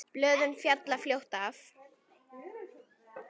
Blöðin falla fljótt af.